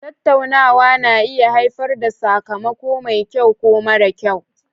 Tattaunawa na iya haifar da sakamako mai kyau ko mara kyau